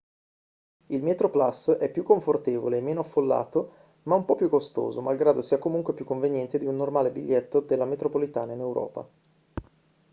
il metroplus è più confortevole e meno affollato ma un po' più costoso malgrado sia comunque più conveniente di un normale biglietto della metropolitana in europa